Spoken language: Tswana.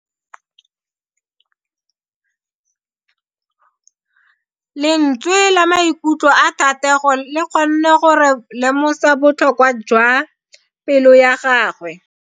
Lentswe la maikutlo a Thatego le kgonne gore re lemosa botlhoko jwa pelo ya gagwe.